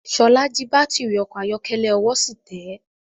Ṣọlá jí baátìrì ọkọ̀ ayọ́kẹ́lẹ́, ọwọ́ sì tẹ́.